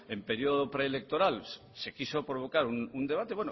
en periodo preelectoral se quiso provocar un debate